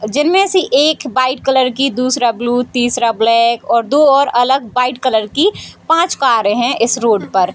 जिनमें से एक व्हाइट कलर की दूसरा ब्लू तीसरा ब्लैक और दो अलग-अलग व्हाइट कलर की पांच कारे है इस रोड पर।